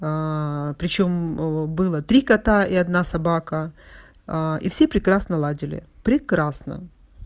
причём о было три кота и одна собака а и всё прекрасно ладили прекрасно